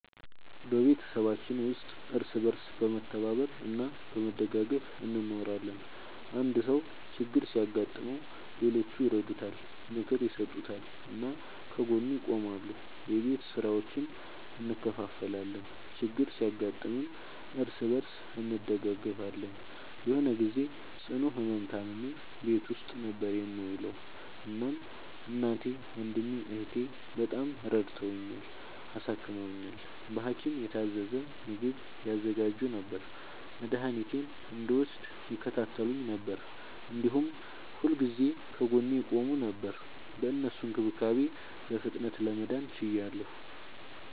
በቤተሰባችን ውስጥ እርስ በርስ በመተባበር እና በመደጋገፍ እንኖራለን። አንድ ሰው ችግር ሲያጋጥመው ሌሎቹ ይረዱታል፣ ምክር ይሰጡታል እና ከጎኑ ይቆማሉ። የቤት ስራዎችን እንከፋፈላለን፣ ችግር ሲያጋጥምም እርስ በርስ እንደጋገፋለን። የሆነ ግዜ ጽኑ ህመም ታምሜ ቤት ውስጥ ነበር የምዉለዉ። እናም እናቴ፣ ወንድሜ፣ እህቴ፣ በጣም ረድተዉኛል፣ አሳክመዉኛል። በሀኪም የታዘዘ ምግብ ያዘጋጁ ነበር፣ መድኃኒቴን እንድወስድ ይከታተሉኝ ነበር፣ እንዲሁም ሁልጊዜ ከጎኔ ይቆሙ ነበር። በእነሱ እንክብካቤ በፍጥነት ለመዳን ችያለሁ።